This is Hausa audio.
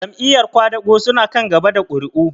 Jam'iyar ƙwadago su na kan gaba da ƙuri'u?